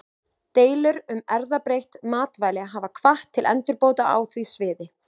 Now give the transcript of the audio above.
Deilur um erfðabreytt matvæli hafa hvatt til endurbóta á því sviði.